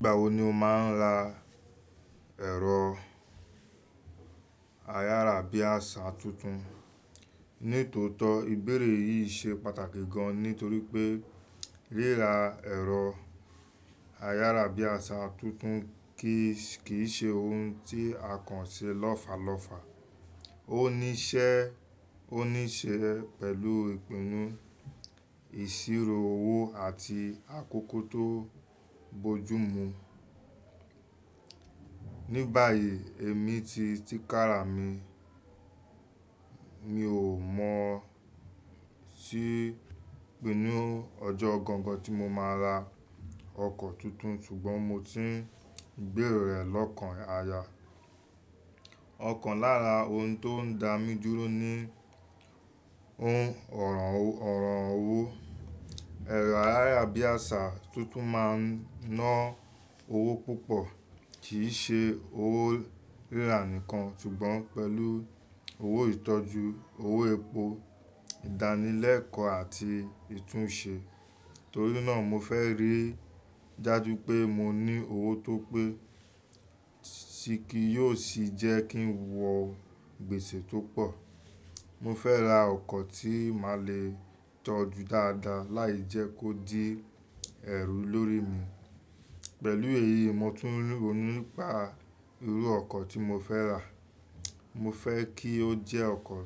Nígbà wo ni o máa ń ra ẹ̀rọ ayáràbí àṣà tuntun? Ní tòótọ́, ìbéèrè yìí ṣe pàtàkì gan nítorí pé ríra ẹ̀rọ ayáràbí àṣà tuntun kì í ṣe ohun tí a kàn ṣe lọ́falọ́fa. Ó níṣe pẹ̀lú ìpinnu, ìṣirò owó àti àkókò tó bojumu. Ní báyìí, èmi ti tíkára mi. Mi ò mọ̀ sí ìpinnu ọjọ́ ọ̀ gangan tí mo máa ra ọkọ̀ tuntun ṣùgbọ́n mo ti ń gbèrò rẹ̀ lọ́kàn aya. Ọ̀kan lára ohun tó ń da mi dúró ni ohun ọ̀rọ̀ owó. Ẹ̀rọ ayáràbí àṣà tuntun máa ń ná owó púpọ̀, kì í ṣe owó ríra nìkan ṣùgbọ́n pẹ̀lú owó ìtọ́jú, owó epo, ìdánilẹ́kọ̀ọ́ àti ìtúnṣe. Torí náà, mo fẹ́ rí i dájú pé mo ní owó tó pé tí kí yóò sì jẹ́ kí n wọ gbèsè tó pọ̀. Mo fẹ́ ra ọkọ̀ tí màá le tọ́jú dáadáa láì jẹ́ kó di ẹrù lórí mi. Pẹ̀lú èyí, mo tún ní òní pa irú ọkọ̀ tí mo fẹ́ rà. Mo fẹ́ kí ó jẹ́ ọkọ̀